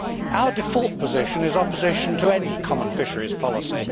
Our default position is opposition to any common fisheries policy.